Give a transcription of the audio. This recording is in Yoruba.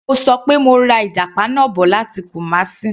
Mo ṣọ pé mo ra ìjàpá náà bọ̀ láti Kumasi.